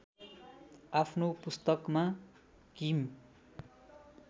आफ्नो पुस्तकमा किम